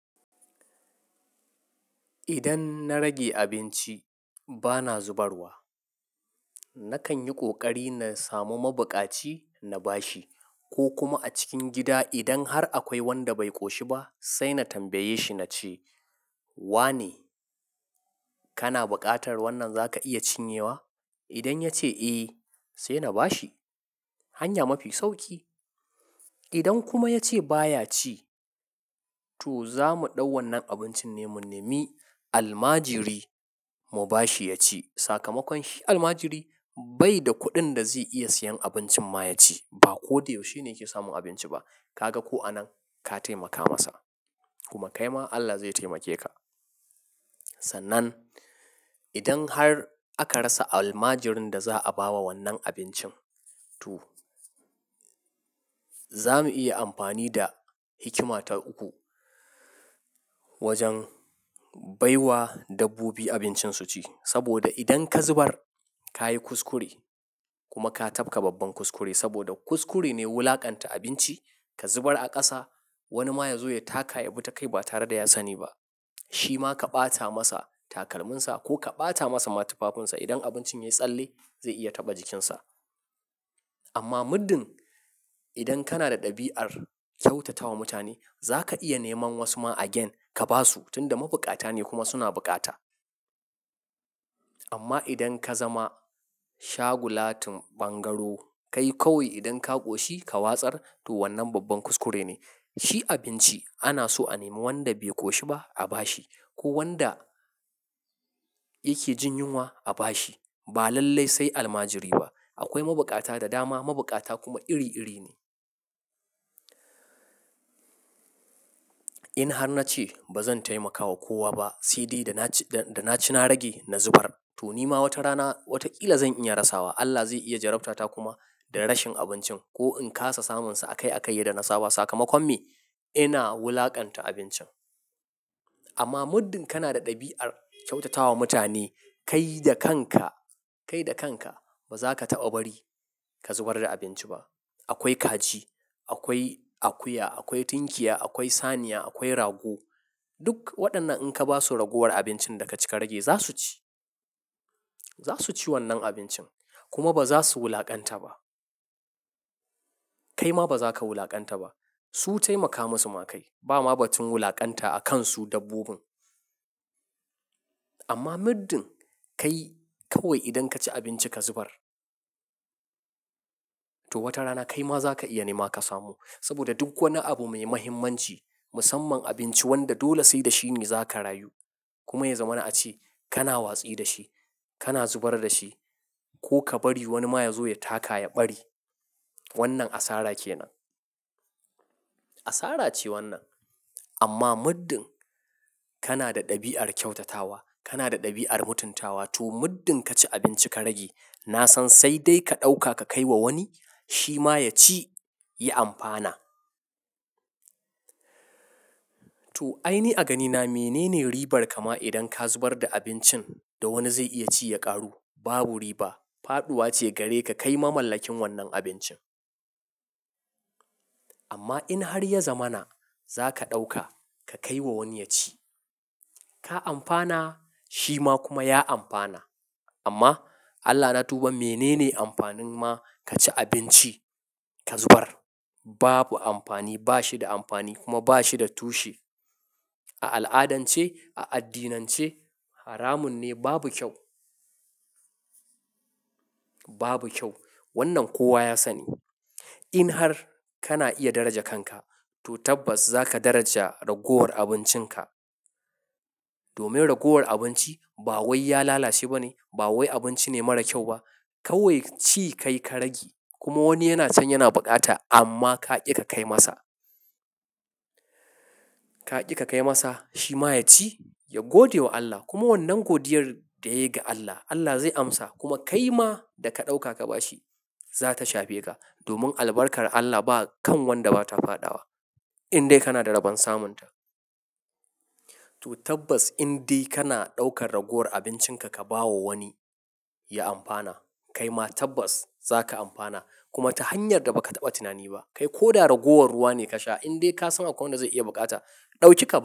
Idan na rage abinci bana zubarwa. Nakan yi ƙoƙari na samu mabukaci na bashi ko kuma a cikin gida idan har akwai wanda bai ƙoshi ba, sai na tambaye shi na ce wa ne? Kana buƙatar wannan za ka iya cin yawa? Idan ya ce eh, sai na bashi hanya mafi sauƙi. Idan kuma ya ce baya ci to za mu ɗau wannan abincin ne mu nemi almajiri mu bashi ya ci. Sakamakon shi almajiri bai da kuɗin da zai iya siyan abincin ma ya ci ba ko dai yaushe ne yake samun abinci ba. Ka ga ko anan ka taimaka masa kuma kai ma Allah zai taimake ka. Sannan idan har aka rasa almajirin da za a ba wa wannan abincin to za mu iya amfani da hikima ta uku wajen baiwa dabbobi abincin su ci. Saboda idan ka zubar ka yi kuskure kuma ka tafka babban kuskure saboda kuskure ne wulakanta abinci ka zubar a ƙasa wani ma ya zo ya taka ya bi ta kai ba tare da ya sani ba. Shi ma ka ɓata masa takalminsa ko ka ɓata masa matufafunsa idan abincin ya tsalle zai iya taɓa jikinsa. Amma muddin idan kana da ɗabi'ar kyautatawa mutane za ka iya neman wasu ma agyen ka ba su tunda mabukata ne kuma suna buƙata. Amma idan ka zama shagulatun bangaro kai kawai idan ka ƙoshi ka watsar to wannan babban kuskure ne. Shi abinci ana so a nemi wanda bai ƙoshi ba a bashi ko wanda yake jin yunwa a bashi ba lallai sai almajiri ba. Akwai mabukata da dama, mabukata kuma iri iri ne. In har na ce ba zan taimakawa kowa ba, saide da na ci na rage na zubar to ni ma wata rana wata ƙila zan iya rasawa. Allah zai iya jarabta ta kuma da rashin abincin ko in kasa samunsa a kai a kai ya danna saba sakamakon me? Ina wulakanta abincin. Amma muddin kana da ɗabi'ar kyautatawa mutane kai da kanka, kai da kanka ba za ka taɓa bari ka zubar da abinci ba. Akwai kaji, akwai akuya, akwai tunkiya, akwai saniya, akwai rago. Duk waɗannan in ka basu raguwar abincin da ka cika rage za su ci. Za su ci wannan abincin kuma ba za su wulaƙanta ba. Kai ma ba za ka wulaƙanta ba. Su taimaka masu ma kai. Ba ma batun wulaƙanta a kan su dabbobin. Amma muddin kai kawai idan ka ci abinci ka zubar to wata rana kai ma za ka iya nema ka samu. Saboda duk wani abu mai muhimmanci musamman abinci wanda dole sai da shi ne za ka rayu kuma ya zamana a ci kana watsi da shi, kana zubar da shi ko ka bari wani ma ya zo ya taka ya bari. Wannan asara ke nan. Asara ce wannan. Amma muddin kana da ɗabi'ar kyautatawa, kana da ɗabi'ar mutuntawa to muddin ka ci abinci ka rage na san sai dai ka ɗauka ka kai wa wani shi ma ya ci ya amfana. To ai ni a ganina menene ribar kama idan ka zubar da abincin da wani zai iya ci ya ƙaru? Babu riba. Faɗuwa ce gare ka kai ma mallakin wannan abincin. Amma in har ya zamana za ka ɗauka ka kai wa wani ya ci. Ka amfana shi ma kuma ya amfana. Amma Allah na tuba menene amfanin ma ka ci abinci ka zubar? Babu amfani. Ba shi da amfani kuma ba shi da tushe. A al'adance, a addinance haramun ne babu kyau. Babu kyau. Wannan kowa ya sani. In har kana iya daraja kanka to tabbas za ka daraja raguwar abincinka. Domin raguwar abinci ba wai ya lalace ba ne, ba wai abinci ne mara kyau ba. Kawai ci kai ka rage kuma wani yana son yana buƙata amma ka ƙi ka kai masa. Ka ƙi ka kai masa shi ma ya ci, ya gode wa Allah kuma wannan godiyar da yayi ga Allah, Allah zai amsa kuma kai ma da ka ɗauka ka bashi za ta shafe ka. Domin albarkar Allah ba kan wanda ba ta fadawa. In dai kana da raban samun ta. To tabbas in dai kana ɗaukar raguwar abincinka ka ba wa wani ya amfana kai ma tabbas za ka amfana kuma ta hanyar da ba ka taɓa tunani ba. Kai ko da raguwar ruwa ne ka sha in dai ka san akwai wanda zai iya buƙata, ɗauki ka.